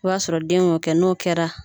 O y'a sɔrɔ den y'o kɛ n'o kɛra